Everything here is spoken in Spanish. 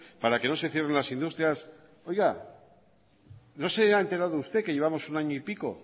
para que no se cierren las industrias oiga no se ha enterado usted que llevamos un año y pico